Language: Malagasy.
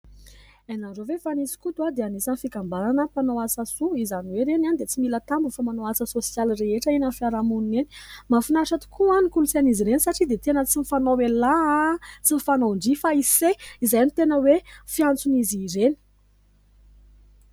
Hainareo ve fa nisy skoto a dia anisan'ny fikambanana mpanao asa soa, izany hoe ireny a dia tsy mila tambiny fa manao asa sosialy rehetra eny amin'ny fiarahamonina eny. Mafinaritra tokoa ny kolontsain'izy ireny satria dia tena tsy mifanao ialahy a, tsy ny fanao ndry fa ise, izay no tena hoe fiantson'izy ireny.